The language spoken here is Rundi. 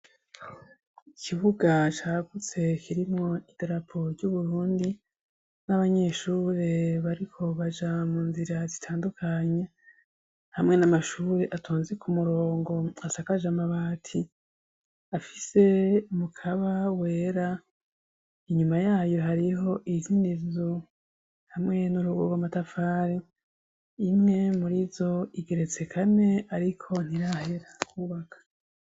Ikibuga cagutse kirimwo idarapo ry'uburundi n'abanyeshure bariko baja mu nzira zitandukanye, hamwe n'amashure asakaje amabati afise umukaba wera. Inyuma yayo hariho izindi nzu hamwe n'urugo rw'amatafari. Imwe muri zo igeretse kane ariko ntirahera kwubaka.